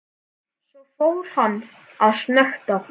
Svo fór hann að snökta.